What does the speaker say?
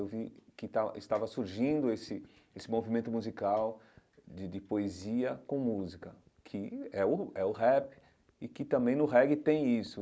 Eu vi que estava estava surgindo esse esse movimento musical de de poesia com música, que é o é o rap e que também no reggae tem isso.